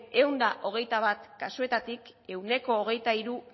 ehun eta hogeita bat kasuetatik ehuneko hogeita hiru